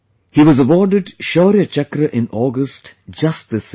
He was given Shaurya Chakra in August just this year